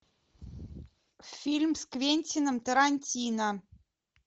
фильм с квентином тарантино